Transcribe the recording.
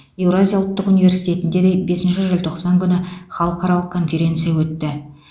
еуразия ұлттық университетінде де бесінші желтоқсан күні халықаралық конференция өтті